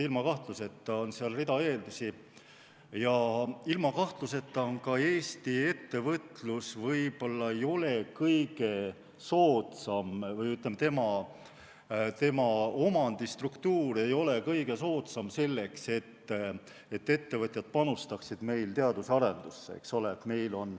Ilma kahtluseta on seal rida eeldusi ja ilma kahtluseta ei ole ka Eesti ettevõtlus võib-olla kõige soodsam või, ütleme, tema omandistruktuur ei ole kõige soodsam selleks, et ettevõtjad panustaksid meil teaduse arendusse, eks ole.